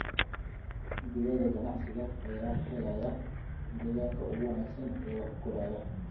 Digaagga ganacsiga ayaa helaya deegaanka ugu wanaagsan ee wax u koraya.